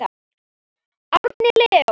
Árni Leó.